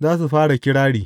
za su fara kirari.